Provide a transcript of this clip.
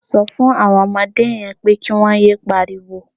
Sọ fún àwọn ọmọdé yẹn pé kí wọ́n yé pariwo.